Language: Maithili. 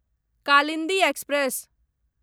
कालिन्दी एक्सप्रेस